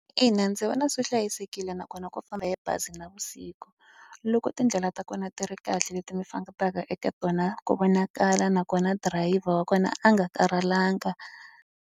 Ina ndzi vona swi hlayisekile nakona ku famba hi bazi navusiku. Loko tindlela ta kona ti ri kahle leti mi fambaka eka tona, ku vonakala nakona dirayivha wa kona a nga karhalanga.